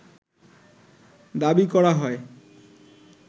দাবি করা হয়